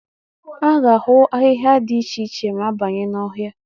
A ga-ahụ ahịhịa dị iche iche ma a banye n'ọhịa.